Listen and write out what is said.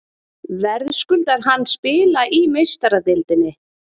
Verðskuldar hann spila í Meistaradeildinni?